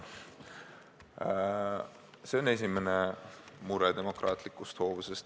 See on esimene mure demokraatlikus hoovuses.